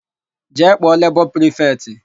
Jee kpọọ lebọ prifetị!